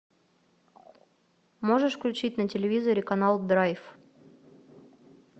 можешь включить на телевизоре канал драйв